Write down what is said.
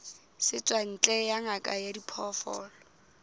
setswantle ya ngaka ya diphoofolo